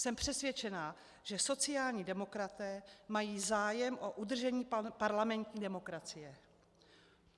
Jsem přesvědčená, že sociální demokraté mají zájem o udržení parlamentní demokracie.